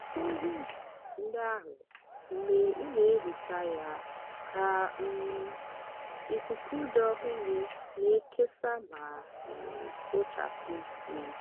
mepee windo ndị ahụ mgbe ị na-ehicha ya ka um ikuku dị ọhụrụ na-ekesa ma um kpochapụ ísì.